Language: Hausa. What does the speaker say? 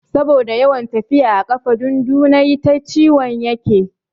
Saboda yawan tafiya a ƙafa dundunayi ta ciwon yake.